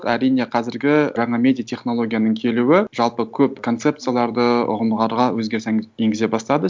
әрине қазіргі жаңа медиа технологияның келуі жалпы көп концепцияларды ұғымдарға өзгеріс енгізе бастады